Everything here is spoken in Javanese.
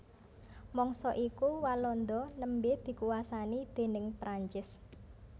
Mangsa iku Walanda nembé dikuwasani déning Prancis